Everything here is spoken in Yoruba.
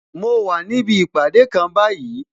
Mo wà níbi ìpàdé kan báyìí